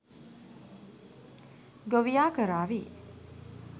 ගොවියා කරාවි